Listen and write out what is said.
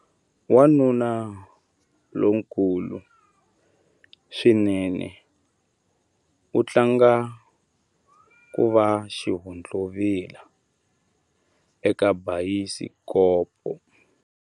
Wanuna lonkulu swinene u tlanga ku va xihontlovila eka bayisikopo.